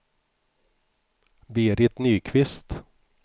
Berit Nyqvist